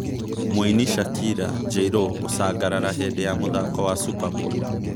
Mũini Shakira, J-Lo gũcangarara hĩndĩ ya mũthako wa Superbowl